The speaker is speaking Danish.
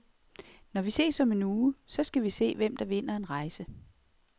Når vi ses om en uge, så skal vi se, hvem der vinder en rejse.